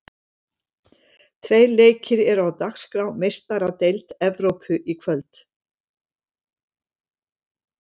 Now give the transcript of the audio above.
Tveir leikir eru á dagskrá í Meistaradeild Evrópu í kvöld.